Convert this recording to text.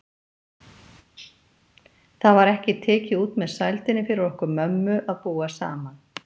Það var ekki tekið út með sældinni fyrir okkur mömmu að búa saman.